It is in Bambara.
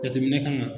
Jateminɛ kan ka